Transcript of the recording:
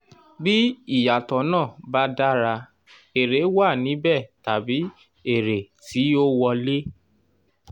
bí ìyàtọ̀ náà ba dára èrè wà níbẹ̀ tàbí èrè ti ó wọlé